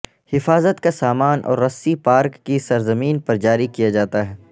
حفاظت کا سامان اور رسی پارک کی سرزمین پر جاری کیا جاتا ہے